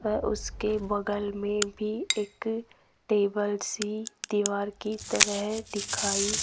अ उसके बगल में भी एक टेबल सी दीवार कि तरह दिखाई --